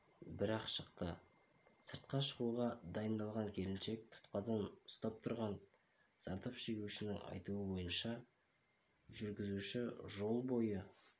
бір-ақ шықты сыртқа шығуға дайындалған келіншек тұтқадан ұстап тұрған зардап шегушінің айтуынша жүргізуші жол бойы